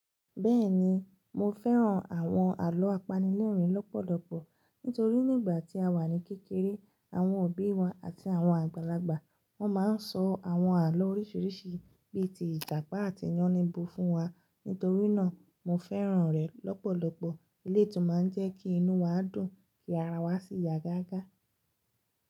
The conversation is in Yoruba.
Bẹ́ẹ̀ni, mo fẹ́ràn àwọn àlọ́ apanilẹ́rìn-ín lọ́pọ̀lọpọ̀ nítorí nígbà tí a wà ní kékeré, àwọn òbí wa àti àwọn àgbàlagbà wọ́n máa ń sọ àwọn àlọ́ oríṣiríṣi bíi ti Ìjàpá àti Yáníbo fún wa. Nítorí náà, mo fẹ́ràn rẹ̀ lọ́pọ̀lọpọ̀. Eleyi tún máa ń jẹ́ kí inú wa dùn, kí ara wa sì yá gágá.